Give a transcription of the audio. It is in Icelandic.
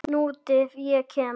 Nútíð- ég kem